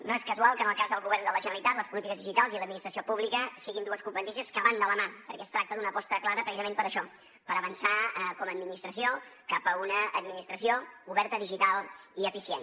no és casual que en el cas del govern de la generalitat les polítiques digitals i l’administració pública siguin dues competències que van de la mà perquè es tracta d’una aposta clara precisament per a això per avançar com a administració cap a una administració oberta digital i eficient